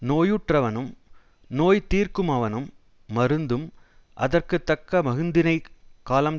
நோயுற்றவனும் நோய்தீர்க்குமவனும் மருந்தும் அதற்கு தக்க மருந்தினைக் காலம்